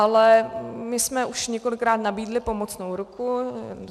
Ale my jsme už několikrát nabídli pomocnou ruku.